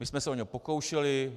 My jsme se o něj pokoušeli.